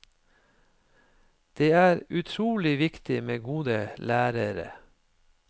Det er utrolig viktig med gode lærere.